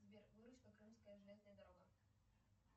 сбер выручка крымская железная дорога